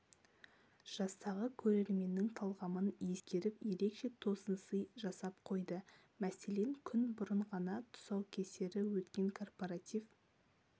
жастағы көрерменнің талғамын ескеріп ерекше тосынсый жасап қойды мәселен күн бұрын ғана тұсаукесері өткен корпоратив